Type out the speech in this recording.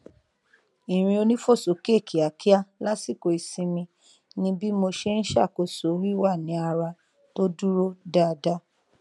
irin onífòsókè kíákíá lásìkò ìsinmi ni bí mo ṣe n ṣàkóso wíwà ní ara tó dúró dáadáa